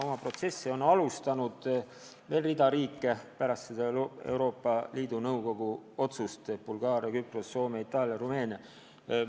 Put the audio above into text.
Oma protsessi on pärast seda Euroopa Liidu Nõukogu otsust alustanud veel mitu riiki: Bulgaaria, Küpros, Soome, Itaalia, Rumeenia.